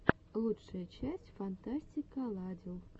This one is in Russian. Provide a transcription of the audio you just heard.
лучшая часть фантастикаладил